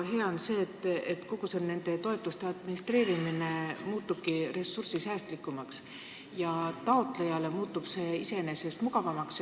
Hea on see, et kogu see toetuste administreerimine muutub ressursisäästlikumaks ja iseenesest taotlejale mugavamaks.